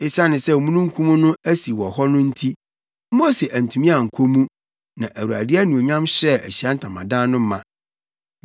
Esiane sɛ na omununkum no asi wɔ hɔ no nti, Mose antumi ankɔ mu na Awurade anuonyam hyɛɛ Ahyiae Ntamadan no ma.